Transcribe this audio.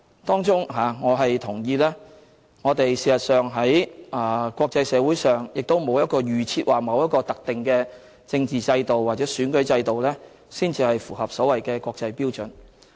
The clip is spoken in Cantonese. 當中我同意我們在國際社會上並沒有一個預設和特定的政治制度或選舉制度才符合所謂的國際標準。